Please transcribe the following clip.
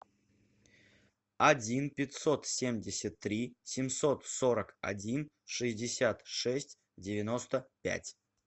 один пятьсот семьдесят три семьсот сорок один шестьдесят шесть девяносто пять